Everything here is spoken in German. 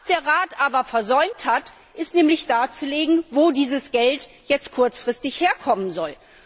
Was der Rat aber versäumt hat, ist darzulegen, wo dieses Geld jetzt kurzfristig herkommen soll.